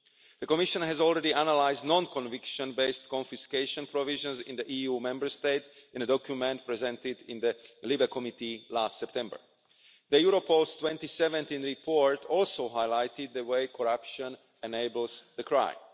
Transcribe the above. The Commission has already analysed non conviction based confiscation provisions in the Member States in a document presented in the LIBE Committee last September. The Europol 2017 report also highlighted the way corruption enables the crime.